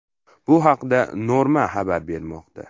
Bu haqda Norma xabar bermoqda .